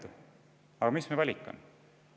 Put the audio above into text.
Aga millised on meie valikud?